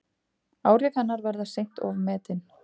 Áhrif hennar verða seint ofmetin.